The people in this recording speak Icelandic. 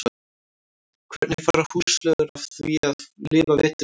Hvernig fara húsflugur að því að lifa veturinn af?